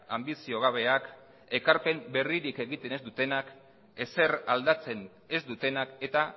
anbizio gabeak ekarpen berririk egiten ez dutenak ezer aldatzen ez dutenak eta